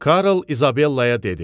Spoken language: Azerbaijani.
Karl İzabellaya dedi.